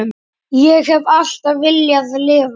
Ég hef alltaf viljað lifa.